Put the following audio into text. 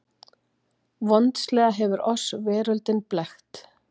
VONDSLEGA HEFUR OSS VERÖLDIN BLEKKT